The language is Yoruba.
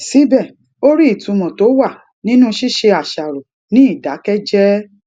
síbè ó rí ìtumò tó wà nínú ṣíṣe àṣàrò ní ìdákéjéé